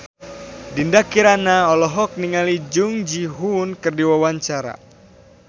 Dinda Kirana olohok ningali Jung Ji Hoon keur diwawancara